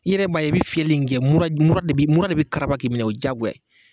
I yɛrɛ b'a ye i bɛ fiyɛli min kɛ mura de b'i minɛ o jagoya ye